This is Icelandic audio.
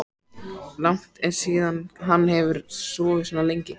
Langt er síðan hann hefur sofið svona lengi.